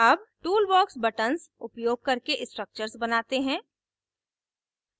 अब toolbox buttons उपयोग करके structures बनाते हैं